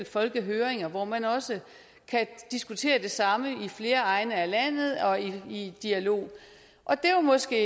folkehøringer hvor man også kan diskutere det samme i flere egne af landet og i dialog og det var måske